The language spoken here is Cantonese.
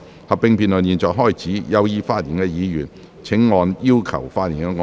合併辯論現在開始，有意發言的議員請按"要求發言"按鈕。